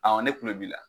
ne kulo b'i la